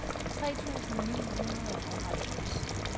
tre tusind ni hundrede og halvfjerds